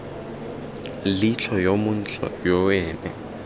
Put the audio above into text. leitlho yo montle yo ene